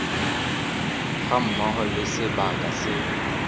ga mmogo le sebaka se